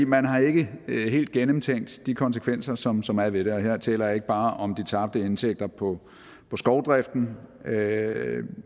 man har ikke helt gennemtænkt de konsekvenser som som er ved det og her taler jeg ikke bare om de tabte indtægter på på skovdriften